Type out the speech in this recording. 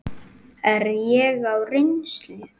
Er ég á reynslu?